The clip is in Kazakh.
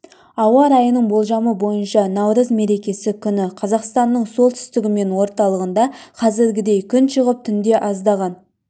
ауа райы болжамы бойынша наурыз мерекесі күні қазақстанның солтүстігі мен орталығында қазіргідей күн шығып түнде аздаған